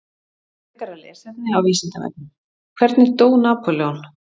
Frekara lesefni á Vísindavefnum: Hvernig dó Napóleon?